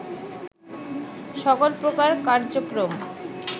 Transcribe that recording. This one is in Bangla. সকল প্রকার কার্যক্রম